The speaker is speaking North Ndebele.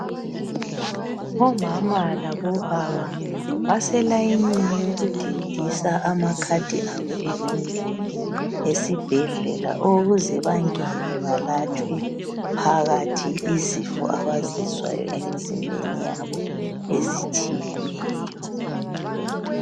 Omama labobaba baselayinini yokudindisa amakhadi abo ewindini esibhedlela ukuze bangene balatshwe phakathi izifo abazizwayo emzimbeni yabo ezitshiyeneyo.